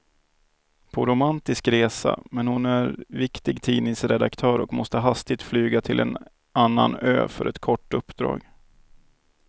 På romantisk resa, men hon är viktig tidningsredaktör och måste hastigt flyga till en annan ö för ett kort uppdrag.